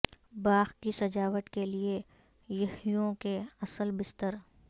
باغ کی سجاوٹ کے لئے پہیوں کے اصل بستر